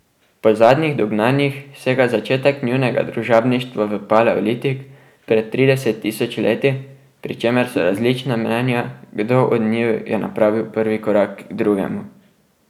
Po zadnjih dognanjih sega začetek njunega družabništva v paleolitik pred trideset tisoč leti, pri čemer so različna mnenja, kdo od njiju je napravil prvi korak k drugemu.